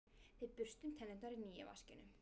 Við burstum tennurnar í nýja vaskinum.